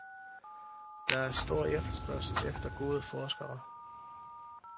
Der er stor efterspørgsel efter gode forskere.